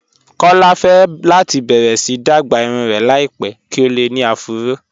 Kọlá fẹ́ láti bẹ̀rẹ̀ sí dágbà irùn rẹ̀ láìpẹ̀ kí o lè ní àfúró